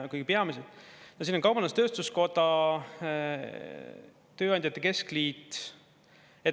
Kõige peamised siin on kaubandus-tööstuskoda, tööandjate keskliit.